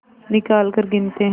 निकालकर गिनते हैं